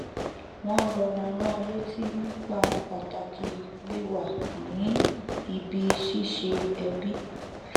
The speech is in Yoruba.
wọn rọra rán an létí nípa pàtàkì wíwà ní ibi ṣíṣe ẹbi